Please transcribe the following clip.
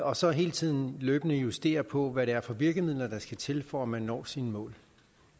og så hele tiden løbende justerer på hvad det er for virkemidler der skal til for at man når sine mål